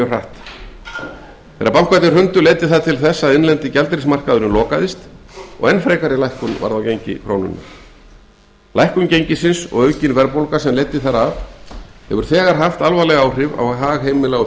hratt þegar bankarnir hrundu leiddi það til þess að innlendi gjaldeyrismarkaðurinn lokaðist og enn frekari lækkun varð á gengi krónunnar lækkun gengisins og aukin verðbólga sem leiddi þar af hefur haft alvarleg áhrif á hag heimila og